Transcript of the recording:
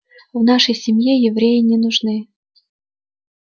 в нашей семье евреи не нужны